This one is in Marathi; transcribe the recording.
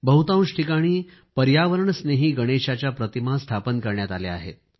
बहुतांश ठिकाणी पर्यावरणस्नेही गणेशाच्या प्रतिमा स्थापन करण्यात आल्या आहेत